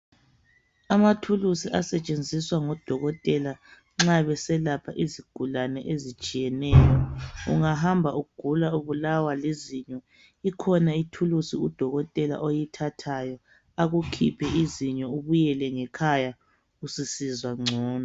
Amathulusi asetshenziswa ngodokotela nxa beselapha izigulane ezitshiyeneyo .Ungahamba ugula ubulawa lizinyo ,ikhona ithulusi Udokotela oyithathayo akukhiphe izinyo .Ubuyele ngekhaya ususizwa ngcono .